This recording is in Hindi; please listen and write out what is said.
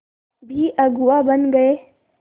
भी अगुवा बन गए